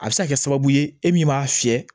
A bɛ se ka kɛ sababu ye e min b'a fiyɛ